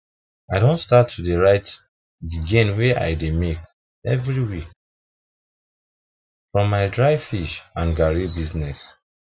i don start to dey write the gain wey i dey make every week from my dry fish and garri business